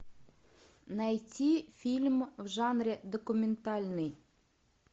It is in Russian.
найти фильм в жанре документальный